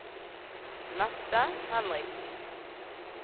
Mette Henriksen